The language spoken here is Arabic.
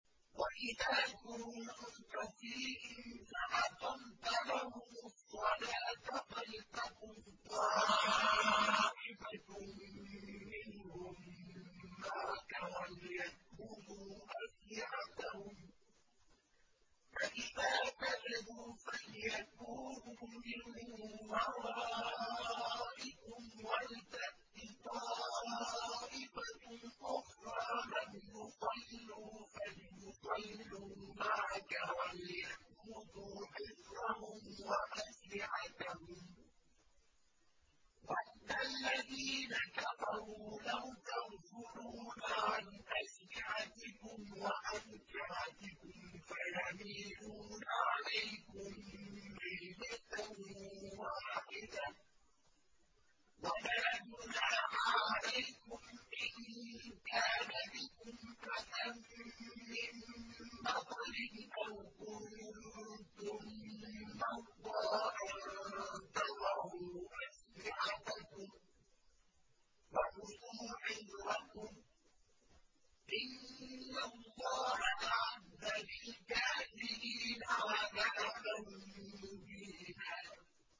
وَإِذَا كُنتَ فِيهِمْ فَأَقَمْتَ لَهُمُ الصَّلَاةَ فَلْتَقُمْ طَائِفَةٌ مِّنْهُم مَّعَكَ وَلْيَأْخُذُوا أَسْلِحَتَهُمْ فَإِذَا سَجَدُوا فَلْيَكُونُوا مِن وَرَائِكُمْ وَلْتَأْتِ طَائِفَةٌ أُخْرَىٰ لَمْ يُصَلُّوا فَلْيُصَلُّوا مَعَكَ وَلْيَأْخُذُوا حِذْرَهُمْ وَأَسْلِحَتَهُمْ ۗ وَدَّ الَّذِينَ كَفَرُوا لَوْ تَغْفُلُونَ عَنْ أَسْلِحَتِكُمْ وَأَمْتِعَتِكُمْ فَيَمِيلُونَ عَلَيْكُم مَّيْلَةً وَاحِدَةً ۚ وَلَا جُنَاحَ عَلَيْكُمْ إِن كَانَ بِكُمْ أَذًى مِّن مَّطَرٍ أَوْ كُنتُم مَّرْضَىٰ أَن تَضَعُوا أَسْلِحَتَكُمْ ۖ وَخُذُوا حِذْرَكُمْ ۗ إِنَّ اللَّهَ أَعَدَّ لِلْكَافِرِينَ عَذَابًا مُّهِينًا